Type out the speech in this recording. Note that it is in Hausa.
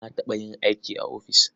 Na taɓa yin aikin ofis.